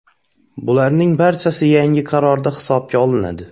Bularning barchasi yangi qarorda hisobga olinadi.